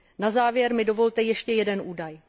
Na závěr mi dovolte ještě jeden údaj.